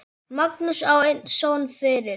Magnús á einn son fyrir.